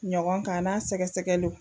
Ɲɔgɔn kan a n'a sɛgɛsɛgɛliw